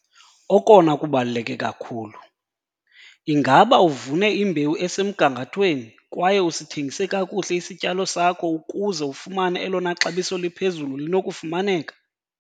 Okona kubaluleke kakhulu- Ingaba uvune imbewu esemgangathweni kwaye usithengise kakuhle isityalo sakho ukuze ufumane elona xabiso liphezulu linokufumaneka?